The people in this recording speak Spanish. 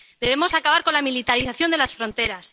Debemos acabar con la militarización de las fronteras.